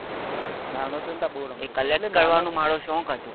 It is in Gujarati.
નાનું હતો તો બહુ રમતો હતો